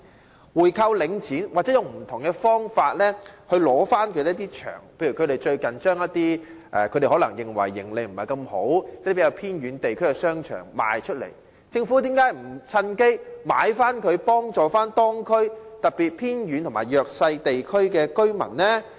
政府可以購回領展，或以不同方法取回一些場地，例如領展近日把一些它認為營利不佳的偏遠地區的商場出售，為何政府不趁機回購，以協助當區，特別是偏遠和弱勢地區的居民呢？